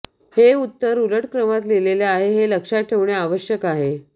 हे उत्तर उलट क्रमात लिहिले आहे हे लक्षात ठेवणे आवश्यक आहे